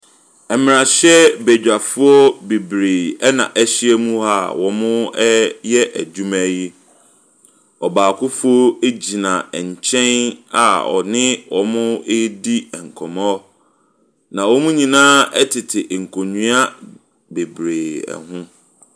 Mmarahyɛbadwafoɔ bebree na ahia mu a wɔre adwuma yi. Ɔbaako nso gyina nkyɛn a ɔne wɔn redi nkɔmmɔ, na wɔn nyinaa tete nkonnwa bebree ho.